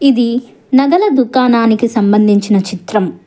ఇది నగల దుకాణానికి సంబంధించిన చిత్రం.